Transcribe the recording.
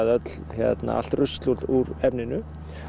allt rusl úr efninu